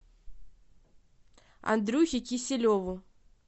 андрюхе киселеву